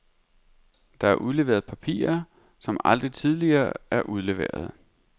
Der er udleveret papirer, som aldrig tidligere er udleveret.